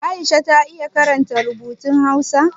Aisha ta iya karanta rubutun Hausa?